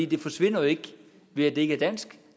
det forsvinder jo ikke ved at det ikke er dansk